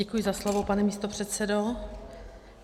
Děkuji za slovo, pane místopředsedo.